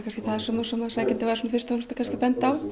sem sækjandi var fyrst og fremst að benda á